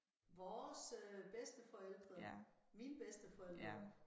Vores øh bedsteforældre mine bedsteforældre